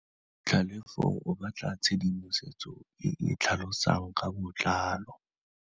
Tlhalefô o batla tshedimosetsô e e tlhalosang ka botlalô.